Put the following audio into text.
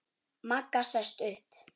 Magga sest upp.